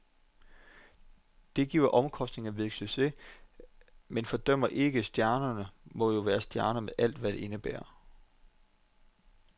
Det giver omkostningerne ved en succes, men fordømmer ikke, stjernen måtte jo være stjerne med alt, hvad det indebærer.